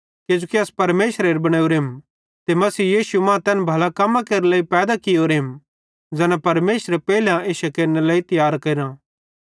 किजोकि अस परमेशरेरे बनोरेम ते मसीह यीशु मां तैन भले कम्मां केरे लेइ पैदा कियोरेम ज़ैना परमेशरे पेइले इश्शे केरनेरे लेइ तियार करां